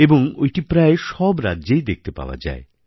এবং ঐটি প্রায় সব রাজ্যেই দেখতে পাওয়া যায়